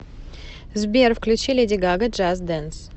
сбер включи леди гага джаст дэнс